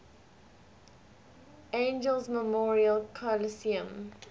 angeles memorial coliseum